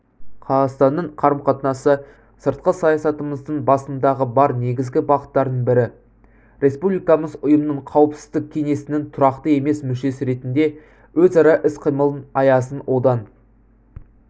қазақстанның қарым-қатынасы сыртқы саясатымыздың басымдығы бар негізгі бағыттарының бірі республикамыз ұйымның қауіпсіздік кеңесінің тұрақты емес мүшесі ретінде өзара іс-қимыл аясын одан